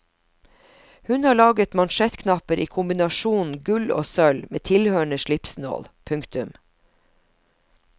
Hun har laget mansjettknapper i kombinasjonen gull og sølv med tilhørende slipsnål. punktum